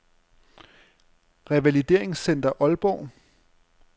Revalideringscenter Aalborg